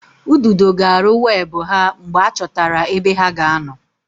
Ududo ga-arụ webụ ha mgbe a chọtara ebe ha ga-anọ